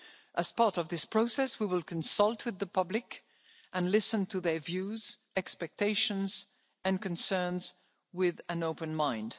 citizens. As part of this process, we will consult with the public and listen to their views, expectations and concerns with an open